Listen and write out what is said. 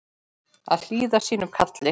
Að hlýða sínu kalli